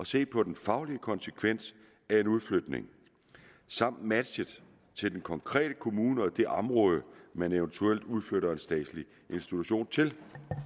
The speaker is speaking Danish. se på den faglige konsekvens af en udflytning samt matchen til den konkrete kommune og det område man eventuelt udflytter en statslig institution til